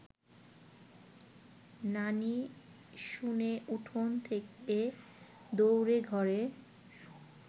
নানি শুনে উঠোন থেকে দৌড়ে ঘরে